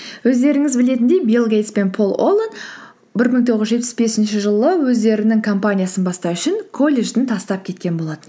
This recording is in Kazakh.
өздеріңіз білетіндей бил гейтс пен пол оллен бір мың тоғыз жүз жетпіс бесінші жылы өздерінің компаниясын бастау үшін колледжін тастап кеткен болатын